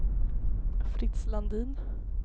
Fritz Landin